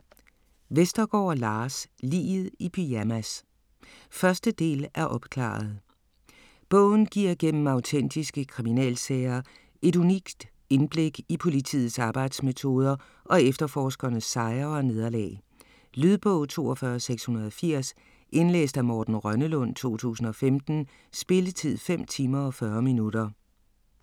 Vestergaard, Lars: Liget i pyjamas 1. del af Opklaret!. Bogen giver gennem autentiske kriminalsager et unikt indblik i politiets arbejdsmetoder og efterforskernes sejre og nederlag. Lydbog 42680 Indlæst af Morten Rønnelund, 2015. Spilletid: 5 timer, 40 minutter.